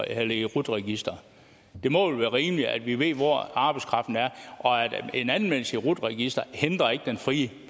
i rut registeret det må vel være rimeligt at vi ved hvor arbejdskraften er en anmeldelse i rut registeret hindrer ikke den frie